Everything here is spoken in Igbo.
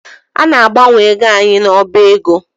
A na-agbanwe ego anyị n’ọba ego